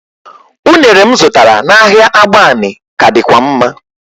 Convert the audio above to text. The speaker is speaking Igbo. Ụnere m zụtara n'ahịa agbani ka dịkwa mma